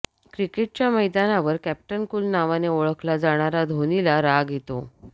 क्रिकेटच्या मैदानावर captain cool नावाने ओळखला जाणारा धोनीला राग येतो